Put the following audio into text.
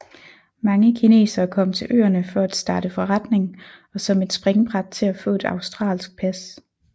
Mange kinesere kom til øerne for at starte forretning og som et springbræt til at få et australsk pas